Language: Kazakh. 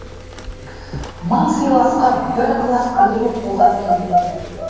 мың сыйласқа бір ықылас білдіру қолдан келмеді